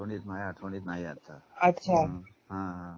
आठवणीत नाहीये आता अच्छा हम्म.